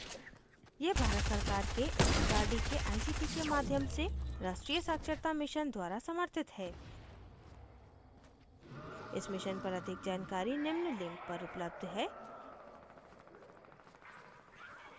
यह भारत सरकार के एमएचआरडी के आईसीटी के माध्यम से राष्ट्रीय साक्षरता mission द्वारा समर्थित है इस mission पर अधिक जानकारी निम्न link पर उपलब्ध है